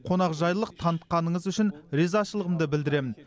қонақжайлылық танытқаныңыз үшін ризашылығымды білдіремін